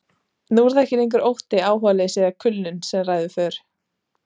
Nú er það ekki lengur ótti, áhugaleysi eða kulnun sem ræður för.